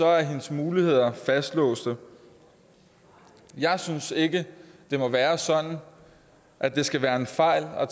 er hendes muligheder fastlåste jeg synes ikke det må være sådan at det skal være en fejl at